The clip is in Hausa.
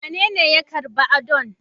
Wanene ya karba Adan?